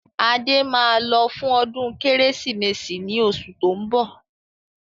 Adé máa lọ fún ọdún Kérésìmesì ni oṣù tó ń bọ̀.